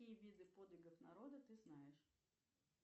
какие виды подвигов народа ты знаешь